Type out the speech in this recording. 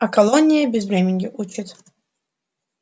а колония безвременью учит